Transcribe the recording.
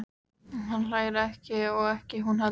Hann hlær ekki og ekki hún heldur.